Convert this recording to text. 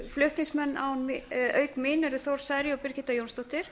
flutningsmenn tillögunnar eru auk mín þór saari og birgitta jónsdóttir